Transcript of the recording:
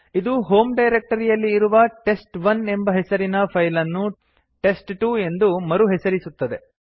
ಇದು ಹೋಮ್ ಡೈರಕ್ಟರಿಯಲ್ಲಿ ಇರುವ ಟೆಸ್ಟ್1 ಎಂಬ ಹೆಸರಿನ ಫೈಲ್ ಅನ್ನು ಟೆಸ್ಟ್2 ಎಂದು ಮರುಹೆಸರಿಸುತ್ತದೆ